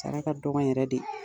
Sara dɔgɔ yɛrɛ de.